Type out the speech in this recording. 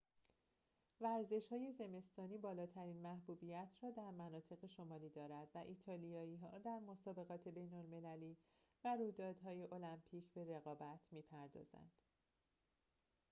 ورزش‌های زمستانی بالاترین محبوبیت را در مناطق شمالی دارد و ایتالیایی‌ها در مسابقات بین‌المللی و رویدادهای المپیک به رقابت می‌پردازند